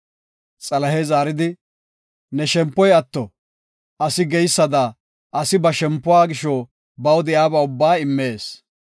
Xalahey zaaridi, “Ne shempoy atto” asi geysada asi ba shempuwa gisho baw de7iyaba ubbaa immees.